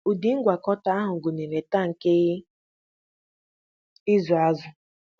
Ụdị ngwakọta ahụ gụnyere tankị ịzụ azụ.